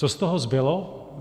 Co z toho zbylo?